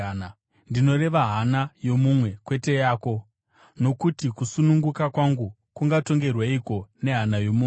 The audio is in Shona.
ndinoreva hana yomumwe, kwete yako. Nokuti kusununguka kwangu kungatongerweiko nehana yomumwe?